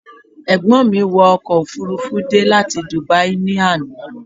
Ẹ̀gbọ́n mi wọ ọkọ̀ òfururufú dé láti Dubai ní àná